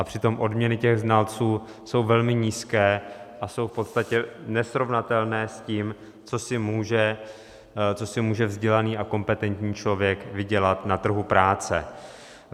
A přitom odměny těch znalců jsou velmi nízké a jsou v podstatě nesrovnatelné s tím, co si může vzdělaný a kompetentní člověk vydělat na trhu práce.